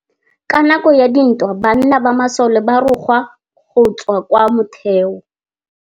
Ka nakô ya dintwa banna ba masole ba rongwa go tswa kwa mothêô.